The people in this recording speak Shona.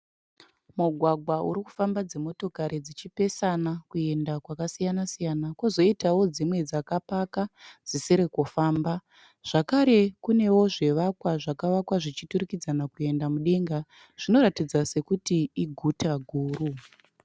Mugwagwa uri kufamba dzimotokari dzichipesana kuenda kwakasiyana siyana, kozoitawo dzimwe dzakapaka dzisiri kufamba. Zvakare kunewo zvivakwa, zvakavakwa zvichiturikidzana kuenda mudenga zvinoratidza sekuti iguta guru.